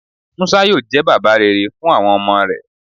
Musa yoo jẹ baba rere fun awọn ọmọ rẹ